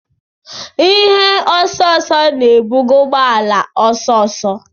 Ihe osooso na-ebuga ụgbọ ala ọsọ ọsọ.